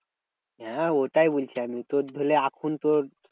হ্যাঁ ওটাই বলছি আমি তোর হলে এখন তোর